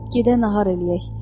Gedək nahar eləyək.